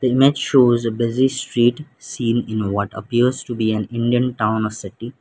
the image shows a busy street scene in what appears to be an indian town or city.